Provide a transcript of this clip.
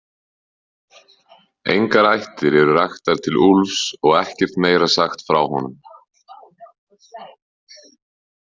Engar ættir eru raktar til Úlfs og ekkert meira sagt frá honum.